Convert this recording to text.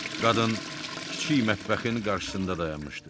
Qadın kiçik mətbəxin qarşısında dayanmışdı.